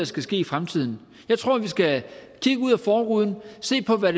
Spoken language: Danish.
skal ske i fremtiden jeg tror vi skal kigge ud af forruden og se på hvad